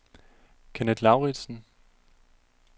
Kenneth Lauritsen